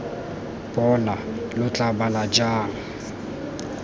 bona lo tla bala jang